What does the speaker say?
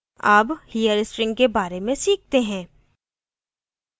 अब here string के बारे में सीखते हैं